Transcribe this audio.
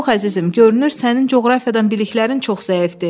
Yox, əzizim, görünür sənin coğrafiyadan biliklərin çox zəifdir.